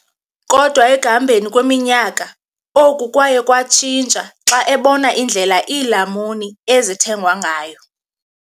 Kodwa ekuhambeni kweminyaka, oku kwaye kwatshintsha xa ebona indlela iilamuni ezithengwa ngayo.